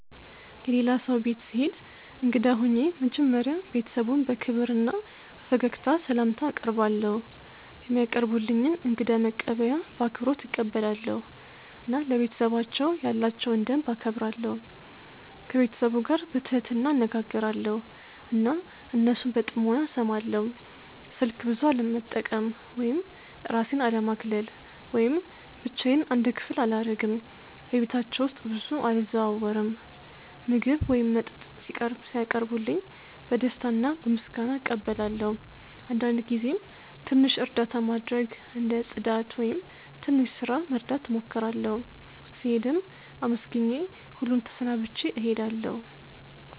የሌላ ሰው ቤት ስሄድ እንግዳ ሆኜ መጀመሪያ ቤተሰቡን በክብር እና በፈገግታ ስላምታ አቀርባለው፧ የሚያቀርቡልኝን እንግዳ መቀበያ በአክብሮት እቀበላለሁ እና ለቤተሰባቸው ያላቸውን ደንብ እከብራለሁ። ከቤተሰቡ ጋር በትህትና እነጋገራለው እና እነሱን በጥሞና እስማለው። ስልክ ብዙ አለመጠቀም ወይም እራሴን አለማግለል ወይም ብቻዮን አንድ ክፍል አላረግም በቤታቸው ውስጥ ብዙ አልዘዋወርም። ምግብ ወይም መጠጥ ሲያቀርቡልኝ በደስታ እና በምስጋና እቀበላለው አንዳንድ ጊዜም ትንሽ እርዳታ ማድረግ እንደ ጽዳት ወይም ትንሽ ስራ መርዳት እሞክራለሁ። ስሄድም አመስግኜ ሁሉን ተሰናብቼ እሄዳለሁ።